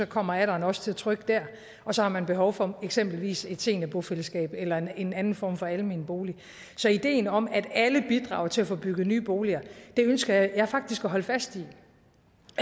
kommer alderen også til at trykke der og så har man behov for eksempelvis et seniorbofællesskab eller en anden form for almen bolig så ideen om at alle bidrager til at få bygget nye boliger ønsker jeg faktisk at holde fast